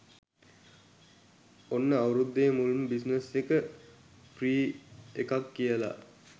ඔන්න අවුරුද්දේ මුල්ම බිස්නස් එක ෆ්‍රී එකක් කියලා